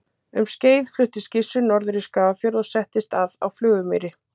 um skeið fluttist gissur norður í skagafjörð og settist að á flugumýri